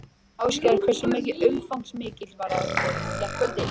Ásgeir, hversu umfangsmikil var aðgerðin í gærkvöldi?